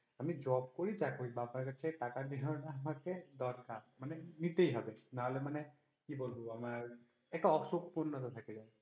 আমি job করি বা যা করি, আব্বার কাছ থেকে টাকা নেওয়া আমাকে দরকার মানে নিতেই হবে। নাহলে মানে কি বলবো আমার একটা অসম্পূর্ণতা থাকে